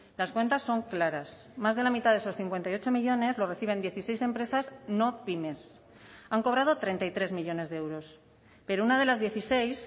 las cuentas son claras más de la mitad de esos cincuenta y ocho millónes lo reciben dieciséis empresas no pymes han cobrado treinta y tres millónes de euros pero una de las dieciséis